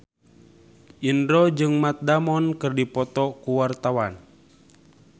Indro jeung Matt Damon keur dipoto ku wartawan